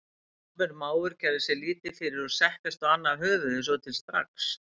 Djarfur máfur gerði sér lítið fyrir og settist á annað höfuðið svo til strax.